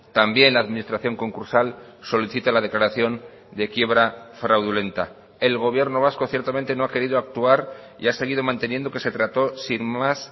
también la administración concursal solicita la declaración de quiebra fraudulenta el gobierno vasco ciertamente no ha querido actuar y ha seguido manteniendo que se trato sin más